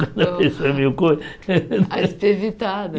meio coisa... A espivitada.